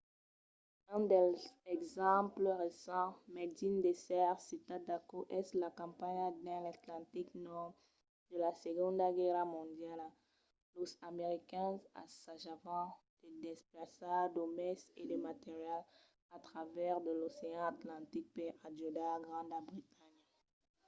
un dels exemples recents mai digne d'èsser citat d'aquò es la campanha dins l'atlantic nòrd de la segonda guèrra mondiala. los americains assajavan de desplaçar d'òmes e de material a travèrs de l'ocean atlantic per ajudar granda bretanha